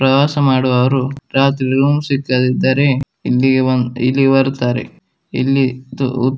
ಪ್ರವಾಸ ಮಾಡುವವರು ರಾತ್ರಿ ರೂಮ್ ಸಿಕ್ಕದಿದ್ದರೆ ಇಲ್ಲಿಗೆ ಬಂದ್ ಇಲ್ಲಿ ಬರತ್ತಾರೆ ಇಲ್ಲಿ ಇದ್ದು --